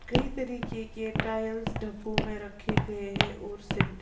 कई तरीके के टाइल्स डिब्बे में रखे गए हैंऔर सेंटर। --